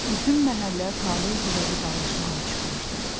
Bütün məhəllə Talehgilə vidalaşmağa çıxmışdı.